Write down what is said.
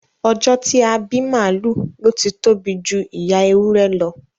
Ọjọ́ a ti bí màálù ló ti tóbi ju ìyá ewúrẹ́ lọ